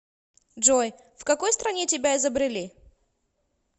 джой в какой стране тебя изобрели